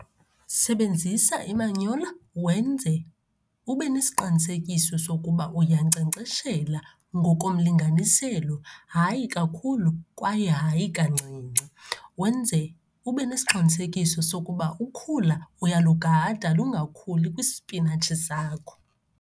Sebenzisa imanyola wenze ube nesiqinisekiso sokuba uyankcenkceshela ngokomlinganiselo, hayi kakhulu kwaye hayi kancinci. Wenze ube nesiqinisekiso sokuba ukhula uyalugada lungakhuli kwispinatshi zakho.